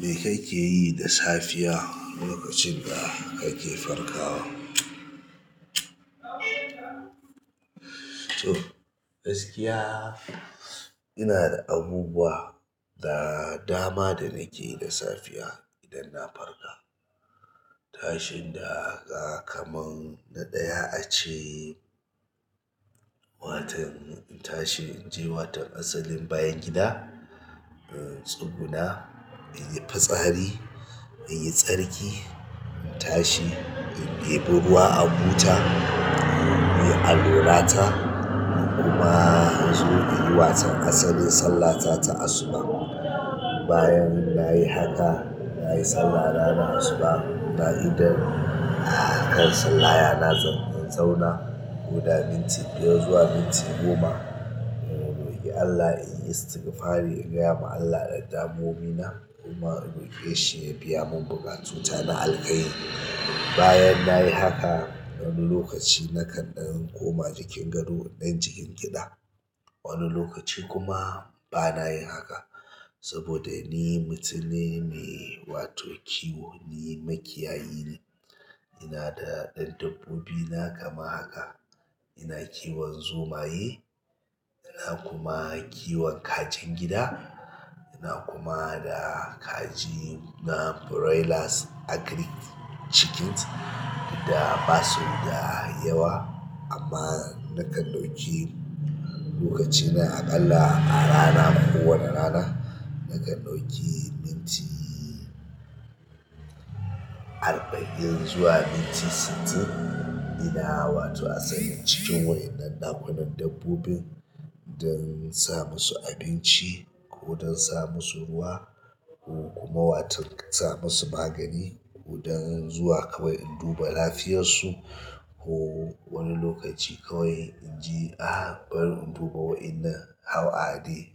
Me kake yi da safiya lokacin da kake farka? To gaskiya ina da abubuwa da dama da nake yi da safiya idan na farka. Tashi daga kamar na ɗaya ace, wato na tashi in je asalin bayan gida tsuguna in yi fitsari, in yi tsarki, in tashi in yi ɗebi ruwa a buta, in yi alwala ta kuma in zo in yi waton asalin sallata ta asuba. Bayan nayi haka, nayi sallana na asuba na idan, ah kan sallaya na zan in zauna ko daga minti biyar zuwa minti goma in roƙi Allah in yi istigfari in gaya ma Allah ɗan damuwowi na kuma in roƙe shi ya biya mun buƙatuta na alkairi. Bayan nayi haka, wani lokaci nakan ɗan koma jikin gado in ɗan kishingiɗa gida. Wani lokaci kuma bana yin haka saboda ni mutum ne mai wato kiwo, ni makiyayi ne. Ina da ɗan dabbobina kamar haka. Ina kiwon zomaye, ina kuma kiwon kajin gida, ina kuma da kaji na broilers agrik chikins da basu da yawa amma na kan ɗauki lokacina aƙalla a rana ko wani rana na kan ɗauki minti arba'in zuwa minti sittin ina wato asalin cikin waɗannan ɗakunan dabbobin don in sa musu abinci ko don in sa musu ruwa ko kuma watan sa musu magani ko don zuwa kawai in duba lafiyarsu ko wani lokaci kawai in je a bari in duba waɗannan how are they